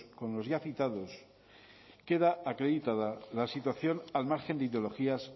con los ya citados queda acreditada la situación al margen de ideologías